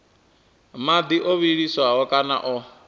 madi o vhiliswaho kana o